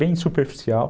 Bem superficial.